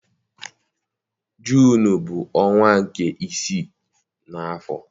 Juunu bụ ọnwa nke isii n'afọ.